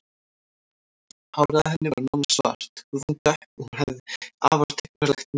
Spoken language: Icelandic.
Hárið á henni var nánast svart, húðin dökk og hún hafði afar tignarlegt nef.